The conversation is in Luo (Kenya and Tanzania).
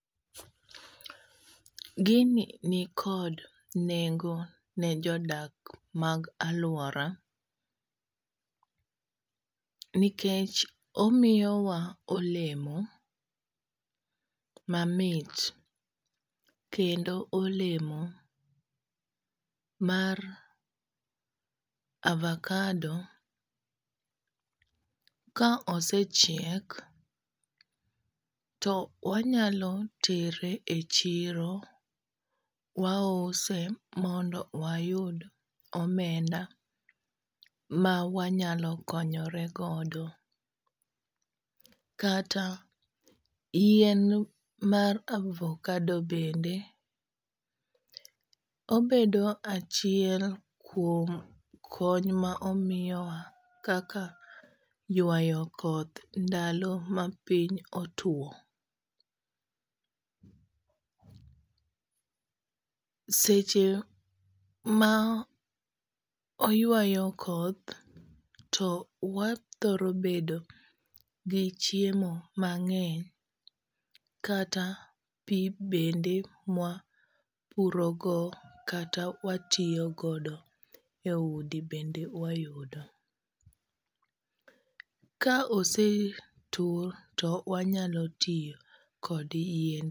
Gini nikod nengo ne jodak mag alwora nikech omiyowa olemo mamit kendo olemo mar avakado. Ka osechiek to wanyalo tere e chiro wause mondo wayud omenda ma wanyalo konyore godo, kata yien mar avokado bende obedo achiel kuom kony ma omiyowa kaka ywayo koth ndalo ma piny otuo. Seche ma oywayo koth to wathoro bedo gi chiemo mang'eny kata pi bende mwa puro go kata watiyo godo e udi bende wayudo. Ka osetur to wanyalo ti kod yien.